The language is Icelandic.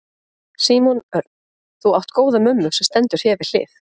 Símon Örn: Þú átt góða mömmu sem stendur þér við hlið?